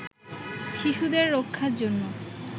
শিশুদের রক্ষার জন্য